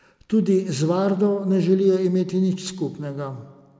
Ti z vardo ne želijo imeti nič skupnega.